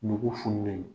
Nugu funtɛni